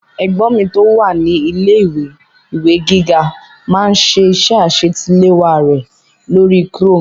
Ẹ̀gbọ́n mi tó wà ní ilé-ìwé ìwé gíga máá ń ṣe iṣẹ́ àṣetiléwá rẹ̀ lórí chrome